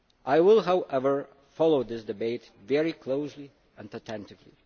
I will, however, follow this debate very closely and attentively.